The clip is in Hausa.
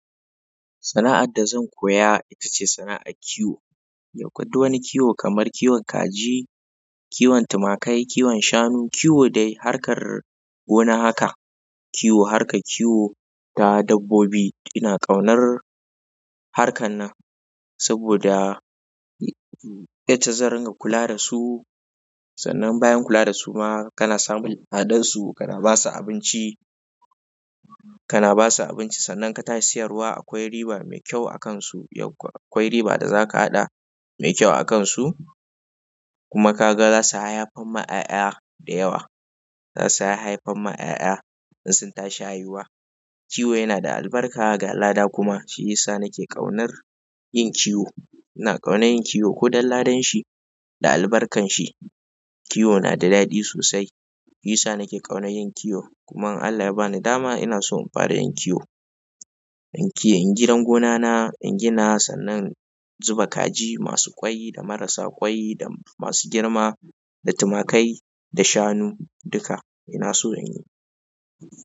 Sana'ar da zan koya ita ce sana'ar kiwo. Yaukwa duk wani kiwo kamar kiwon kaji, kiwon tumakai, kiwon shanu, kiwo dai harkar gona haka. Kiwo harkar kiwo ta dabbobi. Ina ƙaunar harkan nan saboda ita zan ringa kuladasu. Sannan bayan kula dasu ma kana samun ladansu, kana basu abinci, kana basu abinci. Sannan katashi siyarwa akwai riba mai kyau akansu. Akwai riba da zaka haɗa mai kyau akansu kuma kaga zasu haihaffan ma ƴaƴa dayawa. Zasu haihaffan ma ƴaƴa in suntashi haihuwa. Kiwo yanada albarka ga lada kuma shiyisa nake ƙaunar yin kiwo. Ina ƙaunar yin kiwo kodan ladanshi da albarkanshi. Kiwo na da daɗi sosai. Yisa nake ƙaunar yin kiwo. Kuma in Allah yabani dama inaso in fara yin kiwo. In yi, in gidan gonana, in gina sannan zuba kaji masu ƙwai da marasa ƙwai da masu girma da tumakai da shanu duka inaso inyi.